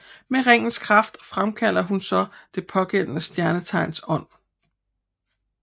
Med ringens kraft fremkalder hun så det pågældende stjernetegns ånd